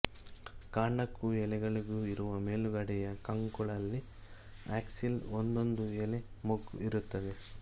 ಕಾಂಡಕ್ಕೂ ಎಲೆಗಳಿಗೂ ಇರುವ ಮೇಲುಗಡೆಯ ಕಂಕುಳಲ್ಲಿ ಆಕ್ಸಿಲ್ ಒಂದೊಂದು ಎಲೆ ಮೊಗ್ಗು ಇರುತ್ತದೆ